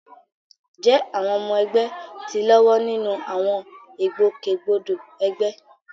jẹ́ àwọn ọmọ ẹgbẹ́ ti ń lọ́wọ́ nínú àwọn ìgbòkègbodò ẹgbẹ́?